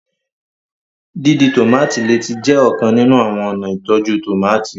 dídì tomati lẹẹ tí jé ọkan nínú àwọn ọna ìtọjú tomati